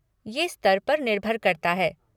ये स्तर पर निर्भर करता है।